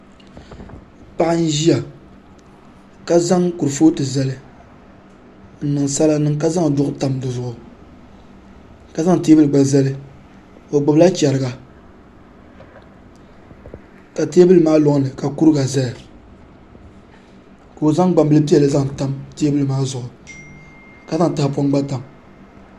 Paɣa n ʒiya ka zaŋ kurifooti zali n niŋ sala niŋ ka zaŋ duɣu tam di zuɣu ka zaŋ teebuli gba zali o gbubila chɛriga ka teebuli maa loŋni ka kuriga ʒɛya ka o zaŋ gbambili piɛlli zaŋ tam teebuli maa zuɣu ka zaŋ tahapoŋ gba tam